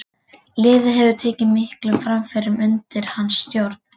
Liðið hefur tekið miklum framförum undir hans stjórn.